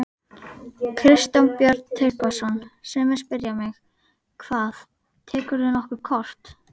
Kristján Björn Tryggvason: Sumir spyrja mig: Hvað, tekurðu nokkuð kort?